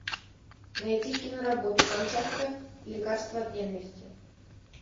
найти киноработу камчатка лекарство от ненависти